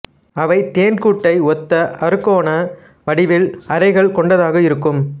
அவை தேன்கூட்டை ஒத்த அறுகோண வடிவில் அறைகள் கொண்டதாக இருக்கும்